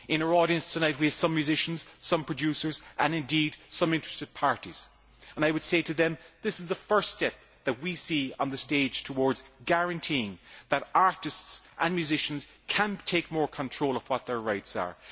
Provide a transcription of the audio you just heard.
In our audience tonight we have some musicians, some producers and, indeed, some interested parties. I would say to them that this is the first step that we see on the stage towards guaranteeing that artists and musicians can take more control of what their rights are.